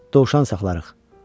Dovşan saxlayarıq.